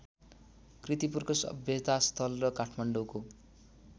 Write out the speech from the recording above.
कीर्तिपुरको सभ्यतास्थल र काठमाडौँको